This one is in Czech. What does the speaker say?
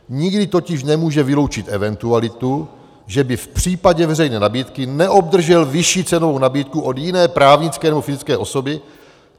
Nikdy totiž nemůže vyloučit eventualitu, že by v případě veřejné nabídky neobdržel vyšší cenovou nabídku od jiné právnické nebo fyzické osoby.